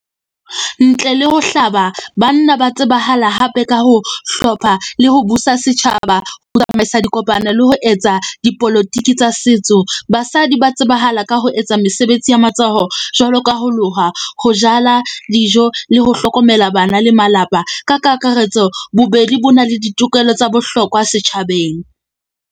Ntle le ho hlaba banna, ba tsebahala hape ka ho hlopha le ho busa setjhaba. Ho tsamaisa dikopano le ho etsa dipolotiki tsa setso. Basadi ba tsebahala ka ho etsa mesebetsi ya matsoho jwalo ka ho loha, ho jala dijo le ho hlokomela bana le malapa. Ka kakaretso bobedi bo na le ditokelo tsa bohlokwa setjhabeng.